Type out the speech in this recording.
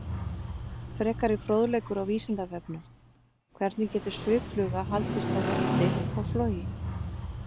Frekari fróðleikur á Vísindavefnum: Hvernig getur sviffluga haldist á lofti og flogið?